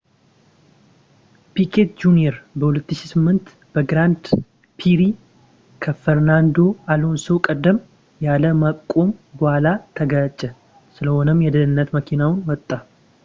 ፒኬት ጁንየር በ2008 በግራንድ ፕሪ ከፈርናንዶ አሎንሶ ቀደም ያለ ማቁም በኋላ ተጋጨ ስለሆነም የደህንነት መኪናውን ወጣ